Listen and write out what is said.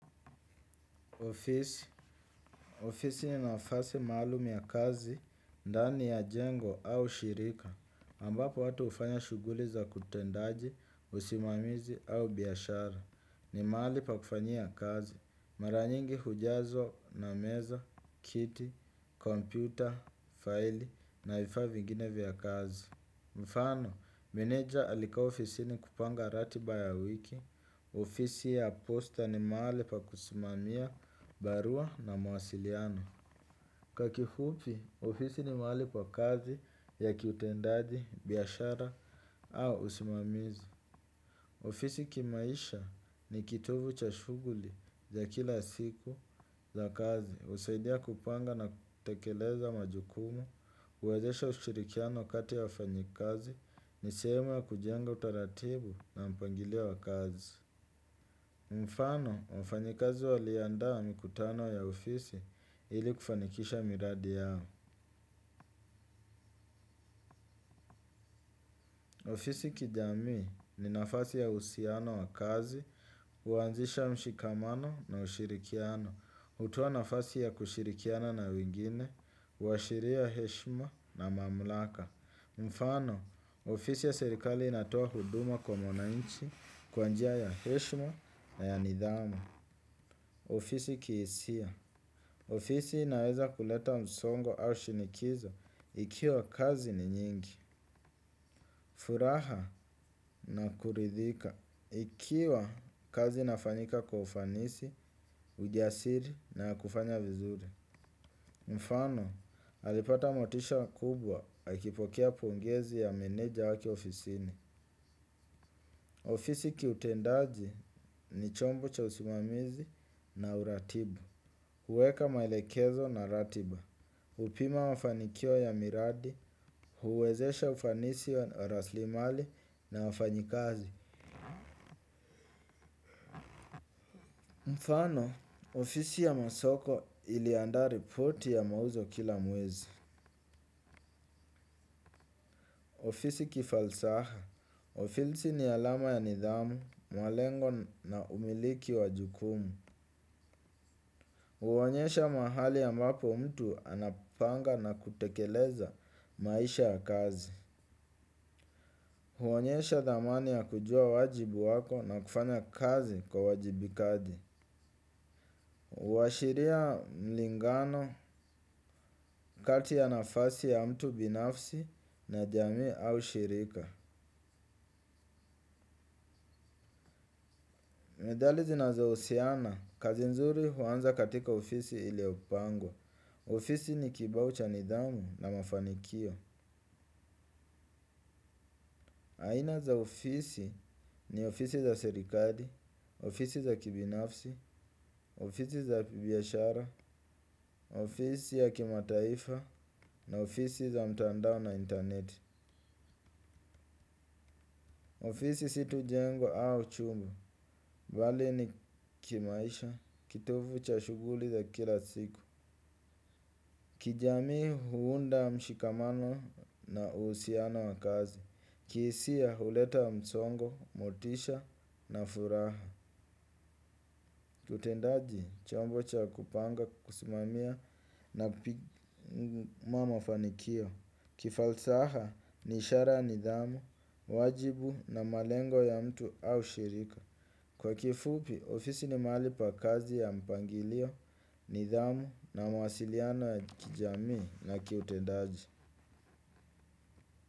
Ofisi, ofisi ni nafasi maalum ya kazi, ndani ya jengo au shirika, ambapo watu hufanya shughuli za utendaji, usimamizi au biashara, ni mahali pa kufanyia kazi, mara nyingi hujazwa na meza, kiti, kompyuta, faili, na vifaa vingine vya kazi. Mfano, meneja alikaa ofisini kupanga ratiba ya wiki, ofisi ya posta ni mahali pa kusimamia barua na mawasiliano. Kwa kifupi, ofisi ni mahali pa kazi ya kiutendaji, biashara au usimamizi. Ofisi kimaisha ni kitovu cha shughuli za kila siku za kazi. Husaidia kupanga na tekeleza majukumu, huwezesha ushirikiano kati ya wafanyikazi, ni sehemu ya kujenga utaratibu na mpangilio wa kazi. Mfano, wafanyikazi waliandaa mikutano ya ofisi ili kufanikisha miradi yao. Ofisi kijamii ni nafasi ya uhusiano wa kazi, huanzisha mshikamano na ushirikiano. Hutoa nafasi ya kushirikiana na wengine, huashiria heshima na mamlaka. Mfano, ofisi ya serikali inatoa huduma kwa mwananchi kwa njia ya heshima na ya nidhamu. Ofisi kihisia. Ofisi naweza kuleta msongo au shinikizo ikiwa kazi ni nyingi. Furaha na kuridhika ikiwa kazi inafanyika kwa ufanisi, ujasiri na kufanya vizuri. Mfano, alipata motisha kubwa akipokea pongezi ya meneja akiwa ofisini. Ofisi kiutendaji ni chombo cha usimamizi na uratibu. Huweka maelekezo na ratiba. Hupima mafanikio ya miradi, huwezesha ufanisi wa rasilimali na wafanyikazi. Mfano, ofisi ya masoko iliandaa ripoti ya mauzo kila mwezi. Ofisi kifalsa. Ofisi ni alama ya nidhamu, malengo na umiliki wa jukumu. Huonyesha mahali ambapo mtu anapanga na kutekeleza maisha ya kazi. Huonyesha dhamani ya kujua wajibu wako na kufanya kazi kwa uwajibikaji. Huashiria mlingano kati ya nafasi ya mtu binafsi na jamii au shirika. Methali zinazohusiana, kazi nzuri huanza katika ofisi iliyopangwa. Ofisi ni kibao cha nidhamu na mafanikio. Aina za ofisi ni ofisi za sierikali, ofisi za kibinafsi, ofisi za piashara, ofisi ya kimataifa na ofisi za mtandao na internet. Ofisi si tu jengo au chumba, bali ni kimaisha, kitovu cha shughuli za kila siku. Kijamii huunda mshikamano na uhusiano wa kazi. Kihisia huleta msongo, motisha na furaha utendaji, chombo cha kupanga, kusimamia na mafanikio. Kifalsaha, ni ishara ya nidhamu, wajibu na malengo ya mtu au shirika. Kwa kifupi, ofisi ni mahali pa kazi ya mpangilio, nidhamu na mawasiliano ya kijamii na kiutendaji.